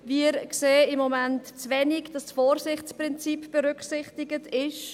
Wir sehen im Moment zu wenig, dass das Vorsichtsprinzip berücksichtig ist.